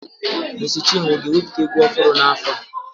Mèési chinwo aga-ewepụta egwu ọhụrụ n'afọ a?